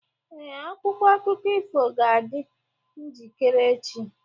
Ee, akwụkwọ akụkọ ifo ga-adị njikere echi.